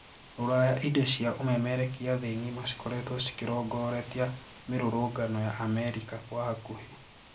Rũraya indo cia umemerekia thĩĩ ng'ima cikoretwo cikerongoretia mirũrũngano ya Amerika kwa hakũhi.